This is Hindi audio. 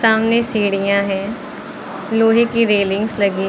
सामने सीढ़ियां हैं लोहे की रेलिंग्स लगी --